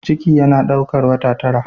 Ciki yana daukar wata tara.